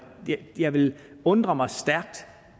jeg ville undre mig stærkt